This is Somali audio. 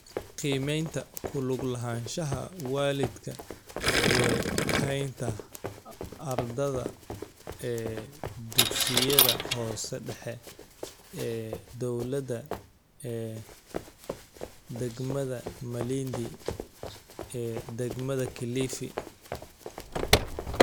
Qiimaynta ku lug lahaanshaha waalidka ee haynta ardada ee dugsiyada hoose dhexe ee dawlada ee degmada Malindi ee degmada Kilifi.